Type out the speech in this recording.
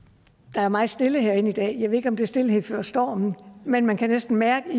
der er meget stille herinde i dag jeg ved ikke om det er stilhed før stormen men man kan næsten mærke